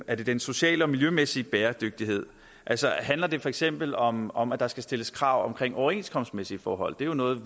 er det den sociale og miljømæssige bæredygtighed handler det for eksempel om om at der skal stilles krav om overenskomstmæssige forhold det er jo noget